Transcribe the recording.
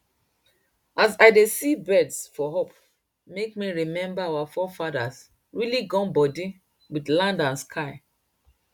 as i dey see birds for up make me remember our forefathers really gum body wit land and sky